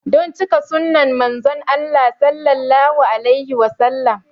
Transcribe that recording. Don cika sunnan Manzon Allah Sallallahu alaihi Wasallama